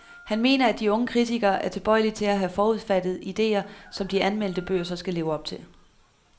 Han mener, at de unge kritikere er tilbøjelige til at have forudfattede ideer, som de anmeldte bøger så skal leve op til.